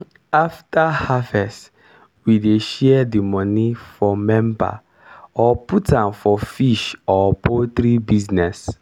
after harvest we dey share di moni for member or put am for fish or poultry business.